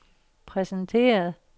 præsenteret